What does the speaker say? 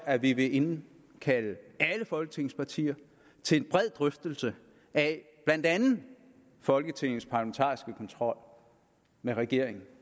at vi vil indkalde alle folketingets partier til en bred drøftelse af blandt andet folketingets parlamentariske kontrol med regeringen